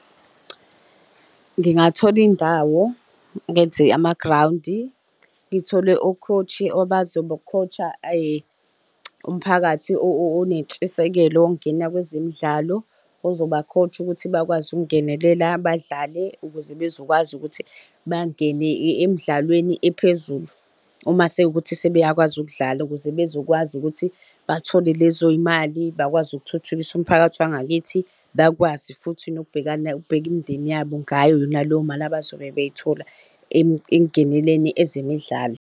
Ngingathola indawo ngenze amagrawundi ngithole u-coach-i obazoba-coach-a umphakathi onentshisekelo ukungena kwezemidlalo ozoba-coach-a ukuthi bakwazi ukungenelela abadlali ukuze bezokwazi ukuthi bangene emidlalweni ephezulu. Uma sekuwukuthi sebeyakwazi ukudlala ukuze bezokwazi ukuthi bathole lezo yimali bakwazi ukuthuthukisa umphakathi wangakithi bakwazi futhi nokubhekana ukubheka imindeni yabo ngayo yona leyo mali abazobe beyithola ekungeneleni ezemidlalo.